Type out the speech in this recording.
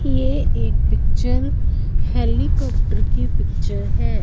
ये एक picture helicopter की पिक्चर है।